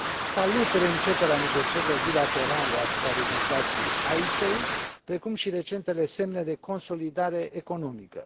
Salut reînceperea negocierilor bilaterale asupra legislației Icesave, precum și recentele semne de consolidare economică.